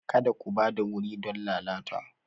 Kada ku ba da wuri don lalata!